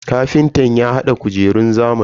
Kafintan ya hada kujerun zamani.